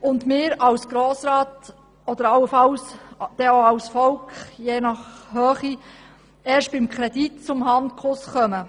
und wir als Grosser Rat und je nach Kredithöhe dann auch als Volk erst beim Kredit zum Handkuss kommen.